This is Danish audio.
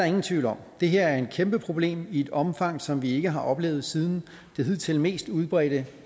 ingen tvivl om det her er et kæmpe problem i et omfang som vi ikke har oplevet siden det hidtil mest udbredte